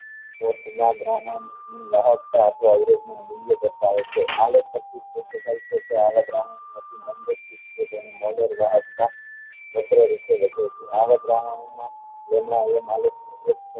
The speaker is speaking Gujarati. મૂલ્ય કરતા હોય છે આવા દ્રાવણો માં